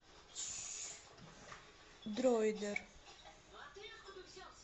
дроидер